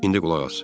İndi qulaq as.